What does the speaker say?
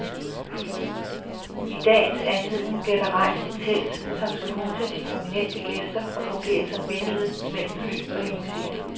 I dagens anledning bliver der rejst et telt, som skal huse de prominente gæster og fungere som bindeled mellem fly og limousiner.